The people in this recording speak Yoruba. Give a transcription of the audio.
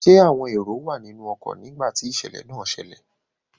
Ṣẹ́ àwọn èrò wà nínú ọkọ nígbà tí ìṣẹ̀lẹ̀ náà ṣẹlẹ̀?